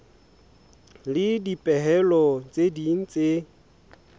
le dipehelo tse ding tse